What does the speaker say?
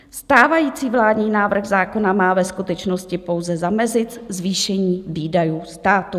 Stávající vládní návrh zákona má ve skutečnosti pouze zamezit zvýšení výdajů státu.